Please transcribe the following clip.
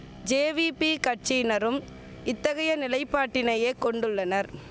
JVP கட்சியினரும் இத்தகைய நிலைப்பாட்டினையே கொண்டுள்ளனர்